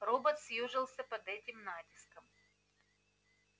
робот съёжился под этим натиском